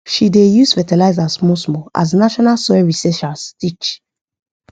she dey use fertiliser smallsmall as national soil researchers teach